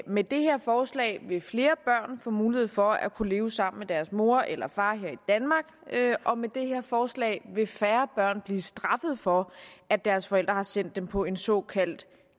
med det her forslag vil flere børn få mulighed for at kunne leve sammen med deres mor eller far her i danmark og med det her forslag vil færre børn blive straffet for at deres forældre har sendt dem på en såkaldt